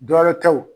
Dɔ wɛrɛ tɛ o